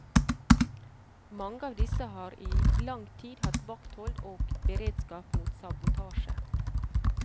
Mange av disse har i lang tid hatt vakthold og beredskap mot sabotasje.